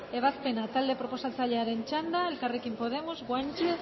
ebazpena talde proposatzailearen txanda elkarrekin podemos guanche